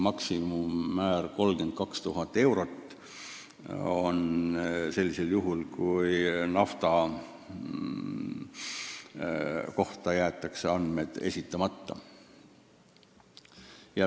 Maksimummäär on 32 000 eurot, mis tuleb maksta juhul, kui nafta kohta jäetakse andmed esitamata.